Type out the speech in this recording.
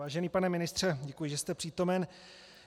Vážený pane ministře, děkuji, že jste přítomen.